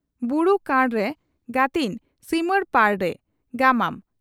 "ᱵᱩᱨᱩ ᱠᱟᱬᱨᱮ ᱜᱟᱹᱛᱤᱧ ᱥᱤᱢᱟᱹᱲᱯᱟᱲᱨᱮ" (ᱜᱟᱢᱟᱢ)